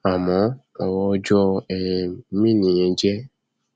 àmọ ọrọ ọjọ um mìíì nìyẹn jẹ